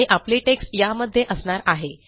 आणि आपले टेक्स्ट यामध्ये असणार आहे